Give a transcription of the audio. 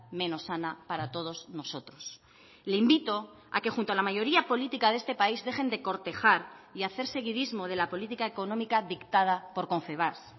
menos sana para todos nosotros le invito a que junto a la mayoría política de este país dejen de cortejar y hacer seguidismo de la política económica dictada por confebask